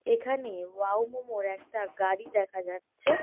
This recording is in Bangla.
এখানেও ওয়াও মোমো -র একটা গাড়ি দেখা যাচ্ছে ।